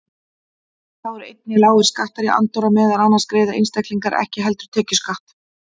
Þá eru einnig lágir skattar í Andorra, meðal annars greiða einstaklingar ekki heldur tekjuskatt þar.